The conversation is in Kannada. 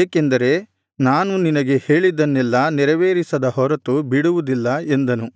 ಏಕೆಂದರೆ ನಾನು ನಿನಗೆ ಹೇಳಿದ್ದನ್ನೆಲ್ಲಾ ನೆರವೇರಿಸದ ಹೊರತು ಬಿಡುವುದಿಲ್ಲ ಎಂದನು